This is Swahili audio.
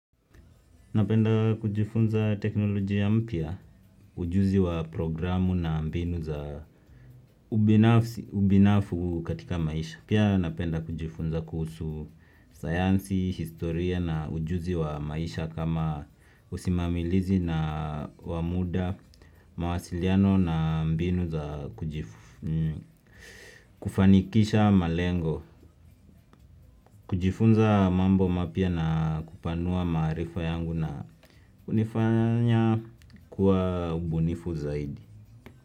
Napenda kujifunza teknolojia mpya, ujuzi wa programu na mbinu za ubinafsi katika maisha. Pia napenda kujifunza kuhusu sayansi, historia na ujuzi wa maisha kama usimamilizi na wamuda, mawasiliano na mbinu za kufanikisha malengo. Kujifunza mambo mapia na kupanua maarifa yangu na kunifanya kuwa ubunifu zaidi.